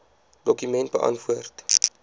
dokument beantwoord